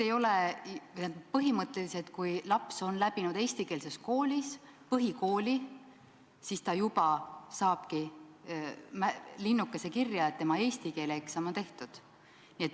Põhimõtteliselt, kui laps on lõpetanud eestikeelses koolis põhikooli, siis ta juba saabki linnukese kirja, et tema eesti keele eksam on tehtud.